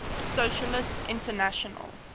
socialist international